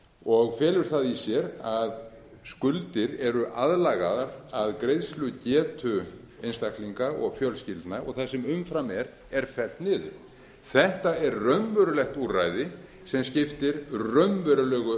og felur það í sér að skuldir eru aðlagaðar að greiðslugetu einstaklinga og fjölskyldna og það sem umfram er er fellt niður þetta er raunverulegt úrræði sem skiptir raunverulegu